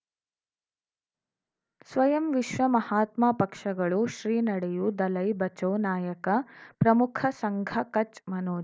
ಸ್ವಯಂ ವಿಶ್ವ ಮಹಾತ್ಮ ಪಕ್ಷಗಳು ಶ್ರೀ ನಡೆಯೂ ದಲೈ ಬಚೌ ನಾಯಕ ಪ್ರಮುಖ ಸಂಘ ಕಚ್ ಮನೋಜ್